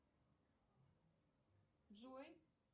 джой